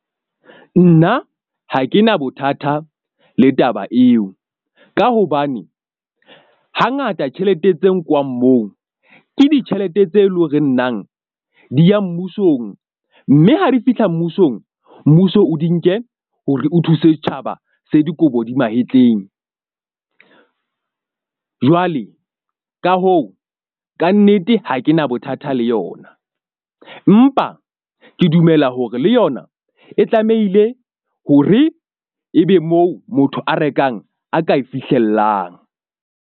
Nna ha ke na bothata le taba eo ka hobane hangata tjhelete tse nkwang moo ke ditjhelete tse leng hore nang di ya mmusong. Mme ha di fihla mmusong. Mmuso o di nke hore o thuse setjhaba se dikobo di mahetleng. Jwale ka hoo, kannete ha ke na bothata le yona, empa ke dumela hore le yona e tlamehile hore ebe moo motho a rekang a ka e fihlellang.